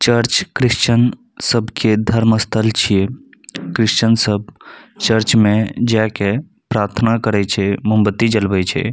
चर्च Christian सबके धर्म स्थल छीये क्रिश्चन सब चर्च मे जाएके प्रार्थना करे छै मोमबत्ती जलवे छै।